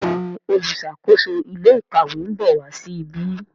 Béèni oluṣakoso ilé ìkàwé nbọ wá sí ìbi.